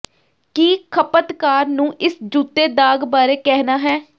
ਕੀ ਖਪਤਕਾਰ ਨੂੰ ਇਸ ਜੂਤੇ ਦਾਗ ਬਾਰੇ ਕਹਿਣਾ ਹੈ